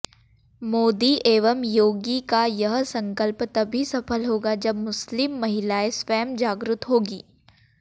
मोदी एवं योगी का यह संकल्प तभी सफल होगा जब मुस्लिम महिलाएं स्वयं जागृत होगी